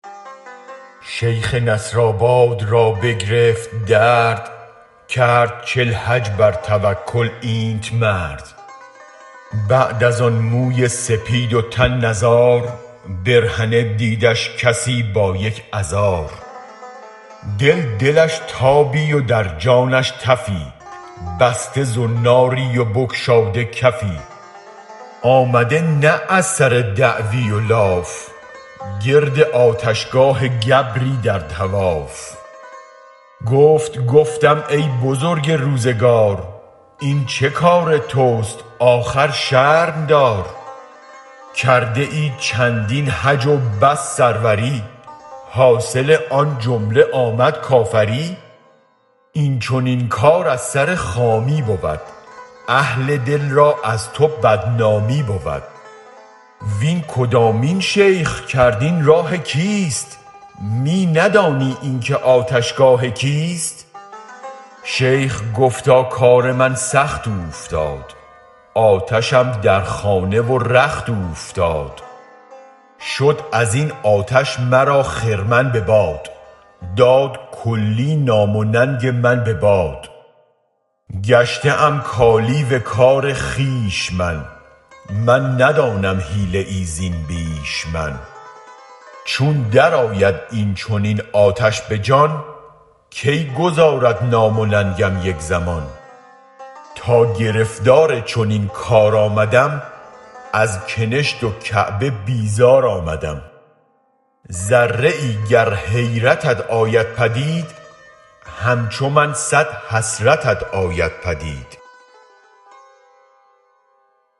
شیخ نصرآباد را بگرفت درد کرد چل حج بر توکل اینت مرد بعد از آن موی سپید و تن نزار برهنه دیدش کسی با یک از ار دل دلش تابی و در جانش تفی بسته زناری و بگشاده کفی آمده نه از سر دعوی و لاف گرد آتش گاه گبری در طواف گفت گفتم ای بزرگ روزگار این چه کار تست آخر شرم دار کرده ای چندین حج و بس سروری حاصل آن جمله آمد کافری این چنین کار از سر خامی بود اهل دل را از تو بدنامی بود وین کدامین شیخ کرد این راه کیست می ندانی این که آتش گاه کیست شیخ گفتا کار من سخت اوفتاد آتشم در خانه و رخت اوفتاد شد ازین آتش مرا خرمن بباد داد کلی نام و ننگ من بباد گشته ای کالیو کار خویش من من ندانم حیله ای زین بیش من چون درآید این چنین آتش به جان کی گذارد نام و ننگم یک زمان تا گرفتار چنین کار آمدم ازکنشت و کعبه بی زار آمدم ذره ای گر حیرتت آید پدید همچو من صد حسرتت آید پدید